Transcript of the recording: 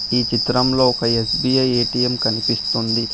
ఈ చిత్రంలో ఒక ఎ_స్బి_ఐ ఎ_టి_ఎం కనిపిస్తుంది.